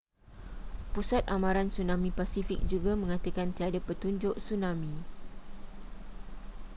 pusat amaran tsunami pasifik juga mengatakan tiada petunjuk tsunami